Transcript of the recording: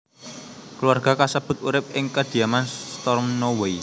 Keluarga kasebut urip ing kediaman Stornoway